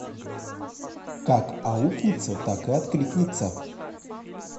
как аукнется так и откликнется